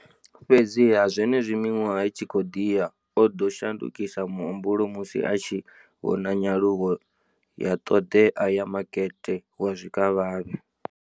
Fhedziha, zwenezwi miṅwaha i tshi khou ḓi ya, o ḓo shandukisa muhumbulo musi a tshi vhona nyaluwo ya ṱhoḓea ya makete wa zwikavhavhe.